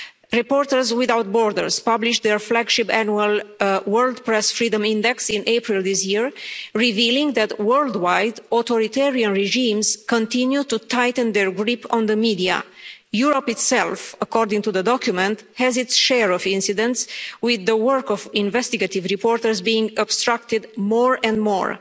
Reporters Without Borders published their flagship annual World Press Freedom Index in April this year, revealing that worldwide, authoritarian regimes continue to tighten their grip on the media. Europe itself, according to the document, has its share of incidents, with the work of investigative reporters being obstructed more and more.